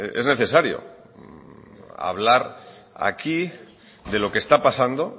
es necesario hablar aquí de lo que está pasando